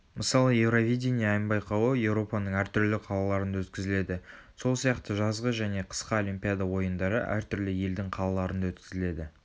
мысалы евровидение ән байқауы еуропаның әртүрлі қалаларында өткізіледі сол сияқты жазғы және қысқы олимпиада ойындары әртүрлі елдің қалаларында өткізіледі